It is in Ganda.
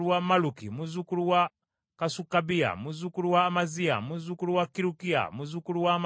muzzukulu wa Kasukabiya, muzzukulu wa Amaziya, muzzukulu wa Kirukiya, muzzukulu wa Amaziya,